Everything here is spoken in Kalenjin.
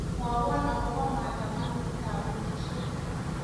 Mwowo akobo maandamanoit ab pilishek